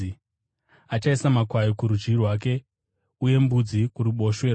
Achaisa makwai kurudyi rwake, uye mbudzi kuruboshwe rwake.